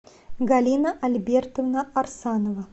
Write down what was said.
галина альбертовна арсанова